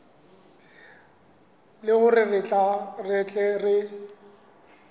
le hore re tle re